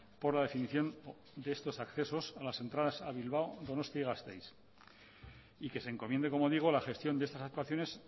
por la definición de estos accesos a las entradas a bilbao donostia y gasteiz y que se encomiende como digo la gestión de estas actuaciones